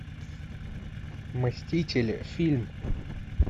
мстители фильм